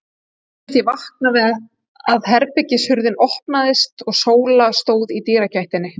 Mér fannst ég vakna við að herbergishurðin opnaðist og Sóla stóð í dyragættinni.